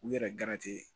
U yɛrɛ